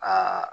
Aa